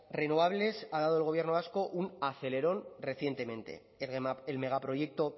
renovables ha dado el gobierno vasco un acelerón recientemente el megaproyecto